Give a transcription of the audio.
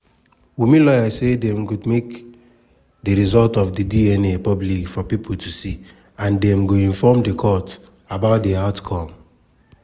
wunmi lawyer say dem go make di result of di dna public for pipo to see and dem go inform di court about di outcome.